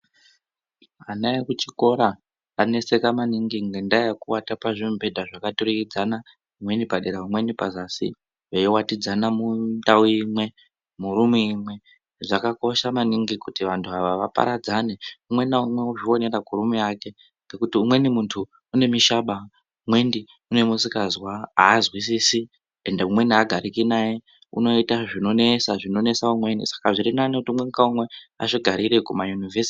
Ana ekuchikora aneseka maningi ngenda yekuata pazvimubhedha zvakaturikidzana, umweni padera umweni padzasi veiwatidzana mundau imwe murumu imwe. Zvakakosha maningi kuti vantu ava vaparadzane umwe naumwe ozvionera kurumu yake ngekuti umweni muntu une mishaba, umweni une musikazwa azwisisi ende umweni agariki naye unoita zvinonesa umweni. Saka zviri nani kuti umwe naumwe azvigarire kuma yunivhesiti.